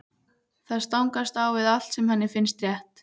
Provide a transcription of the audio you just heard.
Það stangast á við allt sem henni finnst rétt.